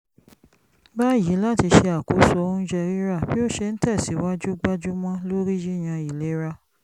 báyìí láti ṣe àkóso oúnjẹ rírà bí ó ṣe ń tẹ̀sìwájú gbájúmọ́ lórí yíyan ìlera